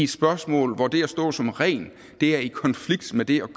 spørgsmål hvor det at stå som ren er i konflikt med det